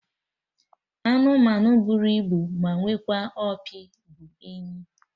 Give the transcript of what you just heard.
Anụmanụ bụrụ ibu ma nwekwa opi bụ enyi